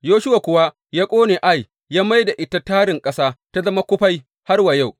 Yoshuwa kuwa ya ƙone Ai, ya mai da ita tarin ƙasa, ta zama kufai har wa yau.